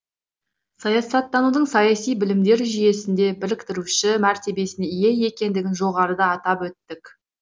саясаттанудың саяси білімдер жүйесінде біріктіруші мәртебесіне ие екендігін жоғарыда айтып өттік